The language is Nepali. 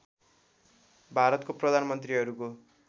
भारतको प्रधान मन्त्रिहरूको